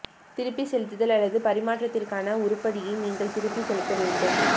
திருப்பிச் செலுத்துதல் அல்லது பரிமாற்றத்திற்கான உருப்படியை நீங்கள் திருப்பிச் செலுத்த வேண்டும்